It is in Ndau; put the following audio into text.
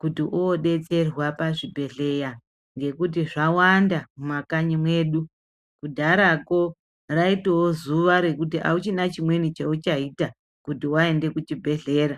kuti woodetserwa pazvibhedheya, ngekuti zvawanda mumakanyi medu. Kudharako raitoya zuva rekuti hauchina chimweni chauchaita, kuti waenda kuchibhedhlera.